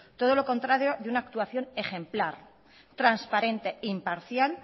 todo lo contrario de una actuación ejemplar transparente imparcial